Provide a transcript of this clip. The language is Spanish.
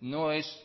no es